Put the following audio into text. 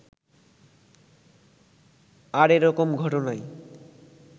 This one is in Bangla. আর এরকম ঘটনায়